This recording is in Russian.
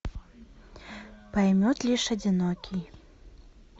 поймет лишь одинокий